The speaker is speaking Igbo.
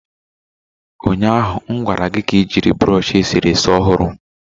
Ụnyaahụ m gwara gị ka ị jiri brush eserese ọhụrụ